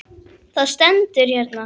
Það stendur hérna.